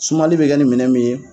Sumali bɛ kɛ nin minɛ min ye.